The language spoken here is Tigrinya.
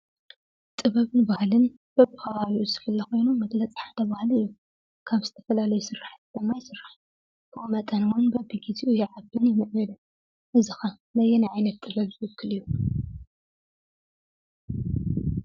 ጥበበን ባህልን በቢ ኸባቢኡ ዝፍለ ኾይኑ መግለፂ ሓደ ባህሊ እዩ:: ካብ ዝተፈላለዩ ስራሕቲ ድማ ይስራሕ ብኡ መጠንን እውን በቢ ግዚኡ ይዓብን ይምዕብልን እዚ ኸ ነየናይ ዓይነት ዓይነት ዝውክል እዩ?